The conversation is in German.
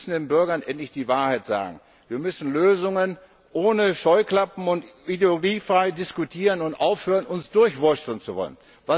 Wir müssen den Bürgern endlich die Wahrheit sagen. Wir brauchen Lösungen ohne Scheuklappen und müssen ideologiefrei diskutieren und aufhören, uns durchwursteln zu wollen.